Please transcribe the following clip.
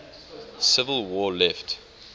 civil war left